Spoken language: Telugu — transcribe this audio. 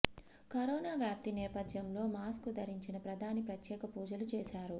కరోనా వ్యాప్తి నేపథ్యంలో మాస్కు ధరించిన ప్రధాని ప్రత్యేక పూజలు చేశారు